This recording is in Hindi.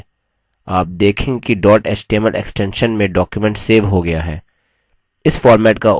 आप देखेंगे कि dot html extension में document सेव हो गया है